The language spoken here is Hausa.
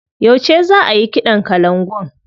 Yauce za ayi kiɗan kalangun?